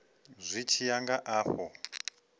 zwi tshi ya nga afho